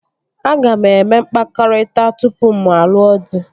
Aga m eme mkpakọrịta tupu mụ alụọ dị